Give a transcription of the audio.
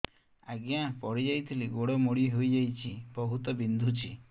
ଆଜ୍ଞା ପଡିଯାଇଥିଲି ଗୋଡ଼ ମୋଡ଼ି ହାଇଯାଇଛି ବହୁତ ବିନ୍ଧୁଛି